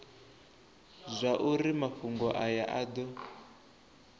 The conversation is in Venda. zwauri mafhungo aya a do